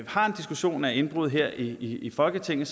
har en diskussion af indbrud her i i folketinget